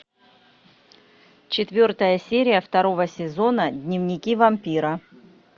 четвертая серия второго сезона дневники вампира